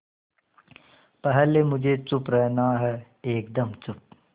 पहले मुझे चुप रहना है एकदम चुप